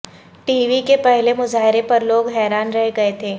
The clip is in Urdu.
ٹی وی کے پہلے مظاہرے پر لوگ حیران رہ گئے تھے